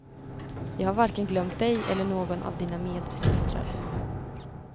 Jag har varken glömt dig eller någon av dina medsystrar.